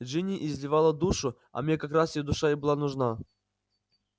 джинни изливала душу а мне как раз её душа и была нужна